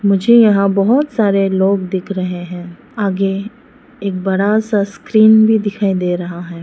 मुझे यहां बहोत सारे लोग दिख रहे हैं आगे एक बड़ा सा स्क्रीन भी दिखाई दे रहा है।